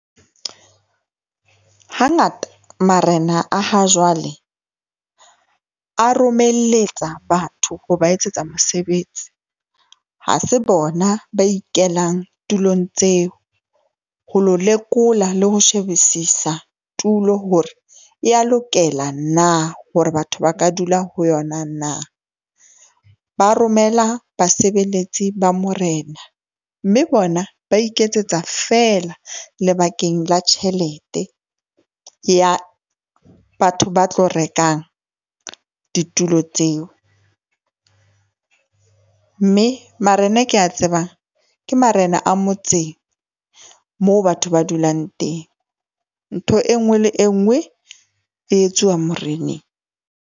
Hangata marena a ha jwale a romeletsa batho ho ba etsetsa mosebetsi. Ha se bona ba ikelang tulong tseo, ho lo lekola le ho shebisisa tulo hore ya lokela na hore batho ba ka dula ho yona? Na? Ba romela basebeletsi ba morena, mme bona ba iketsetsa fela lebakeng la tjhelete ya batho ba tlo rekang ditulo tseo, mme marena a ke a tsebang. Ke marena a motseng moo batho ba dulang teng. Ntho e nngwe le e nngwe e etsuwa moreneng.